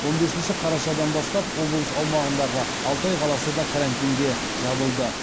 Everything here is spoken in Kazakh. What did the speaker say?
он бесінші қарашадан бастап облыс аумағындағы алтай қаласы да карантинге жабылды